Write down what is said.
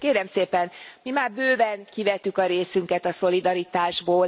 Kérem szépen, mi már bőven kivettük a részünket a szolidaritásból.